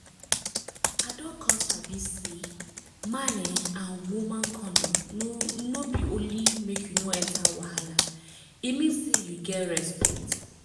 i don come sabi say man[um]and woman condom no no be only make you no enter wahala e mean say you get respect